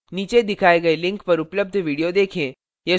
नीचे दिखाए गए link पर उपलब्ध video देखें